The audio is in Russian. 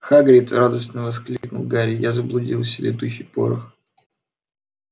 хагрид радостно воскликнул гарри я заблудился летучий порох